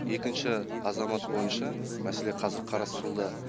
екінші азамат бойынша мәселе қазір қарастырылуда